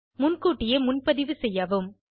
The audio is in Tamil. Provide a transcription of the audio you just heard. முன்கூட்டியே முன்பதிவு செய்யவும்